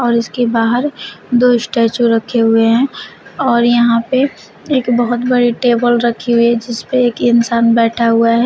और इसके बाहर दो स्टैचू रखे हुए हैं और यहां पे एक बहुत बड़े टेबल रखी है जिसपे एक इंसान बैठा हुआ है।